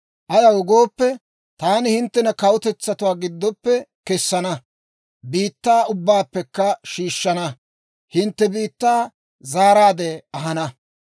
«‹ «Ayaw gooppe, taani hinttena kawutetsatuwaa giddoppe kessana; biittaa ubbaappekka shiishshana. Hintte biittaa zaaraadde ahana.